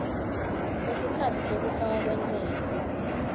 kwesikhatsi sekufakwa kwentsela